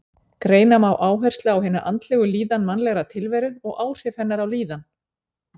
Greina má áherslu á hina andlegu hlið mannlegrar tilveru og áhrif hennar á líðan.